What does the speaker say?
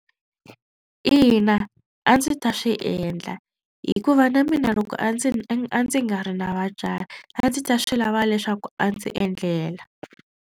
Ina a ndzi ta swi endla hikuva na mina loko a ndzi a ndzi nga ri na vatswari a ndzi ta swi lava leswaku a ndzi endlela.